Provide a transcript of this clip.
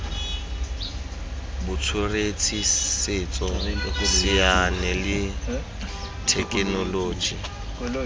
botsweretshi setso saense le thekenoloji